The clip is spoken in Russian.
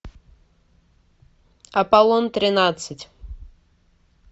аполлон тринадцать